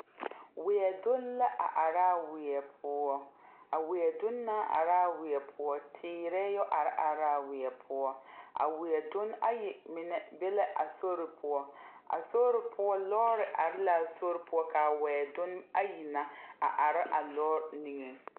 Weɛ dunne la a araa weɛ poɔ a weɛ donne na araa weɛ poɔ teerɛɛ yɔ are are raa weɛ poɔ a weɛ dunne ayi mine be la a sori poɔ a sori poɔ lɔɔre are laa sori poɔ kaa wɛ dunne ayi na a are a lɔɔre niŋeŋ.